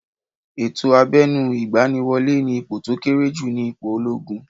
Ètò abẹnu igbaniwole ni ipò to kéré jù ni ipò ológun